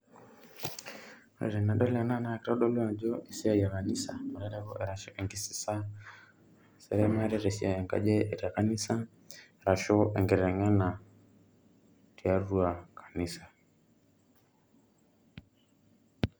Ore tenadol ena na kitodolu ajo esiai e kanisa, arashu enkisisa, esiai enkaji te kanisa, arashu enkiteng'ena tiatua kanisa.